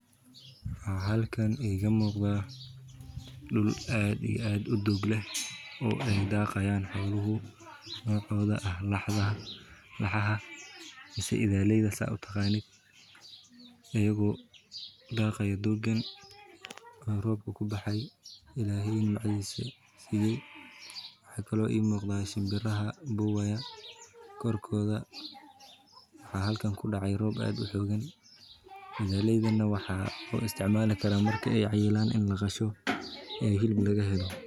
Waxa halkan iga muuqda dhul aad iyo aad u dog leh oo ay daqayaan xoolahu qebtoda ah laxaaha mise idaaleyda sida utaqanid ayago daqayo dogan aya robka kubaxay illahey nimcadis siye, maxa kale oo ii muuqda shimbira buuya korkoda waxa halkan kudhace Rob aad uxoogan, udaaleydan na waxaa u isticmaali karaa cayilan ini laqasho ee hilib laga helo